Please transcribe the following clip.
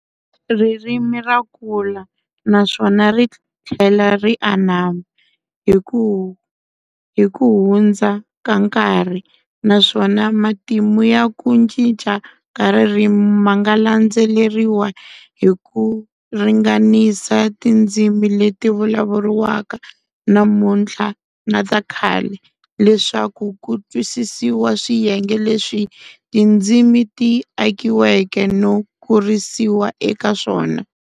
Ririmi rakula naswona rithlela ti anama hikuhundza ka nkarhi, naswona matimu ya ku cinca ka ririmi manga landzeleriwa hiku ringanisa tindzimi leti vulavulriwaka namunthla na takhale, leswaku ku twisisiwa swiyenge leswi tindzimi ti akiweke no kurisiwa eka swona.